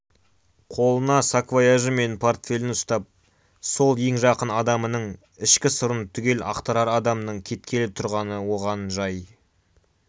қолына саквояжі мен портфелін ұстап сол ең жақын адамының ішкі сырын түгел ақтарар адамның кеткелі тұрғаны оған жай